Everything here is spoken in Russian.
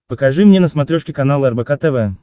покажи мне на смотрешке канал рбк тв